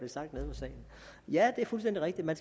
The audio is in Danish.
salen ja det er fuldstændig rigtigt at